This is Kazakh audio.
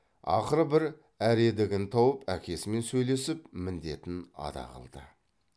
ақыры бір әредігін тауып әкесімен сөйлесіп міндетін ада қылды